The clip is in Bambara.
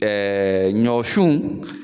Ɛɛ ɲɔ sun